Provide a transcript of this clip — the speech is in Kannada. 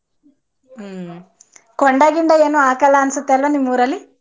ಹ್ಮ್ ಕೊಂಡಾ ಗಿಂಡಾ ಏನೋ ಹಾಕಲ್ಲ ಅನ್ಸುತ್ತೆ ಅಲ್ವಾ ನಿಮೂರಲ್ಲಿ?